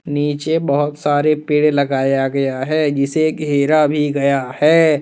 नीचे बहोत सारे पेड़ लगाया गया है जिसे घेरा भी गया है।